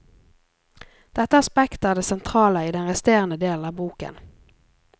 Dette aspektet er det sentrale i den resterende delen av boken.